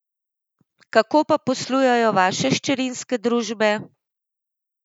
Kako pa poslujejo vaše hčerinske družbe?